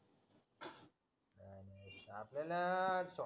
आपल्याला